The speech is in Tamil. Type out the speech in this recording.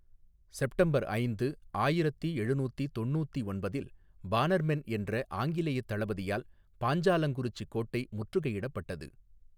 செப்டம்பர் ஐந்து ஆயிரத்தி எழுநூத்தி தொன்னூத்தி ஒன்பதில் பானர்மென் என்ற ஆங்கிலேயத் தளபதியால் பாஞ்சாலங்குறிச்சி கோட்டை முற்றுகையிடப்பட்டது.